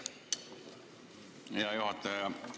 Aitäh, hea juhataja!